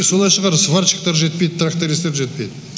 солай шығар сварщиктар жетпейді трактаристтер жетпейді